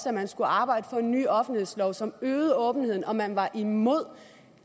at man skulle arbejde på en ny offentlighedslov som øgede åbenheden og man var imod